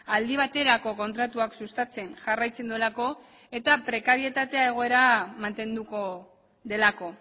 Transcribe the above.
aldi baterako kontratuak sustatzen jarraitzen duelako eta prekarietatea egoera mantenduko delako